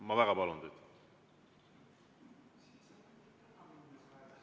Ma väga palun teid!